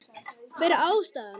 Hver var ástæðan?